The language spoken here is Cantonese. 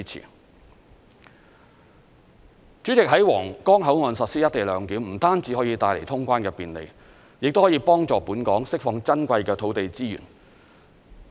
代理主席，在皇崗口岸實施"一地兩檢"，不單可以帶來通關的便利，亦可以幫助本港釋放珍貴的土地資源。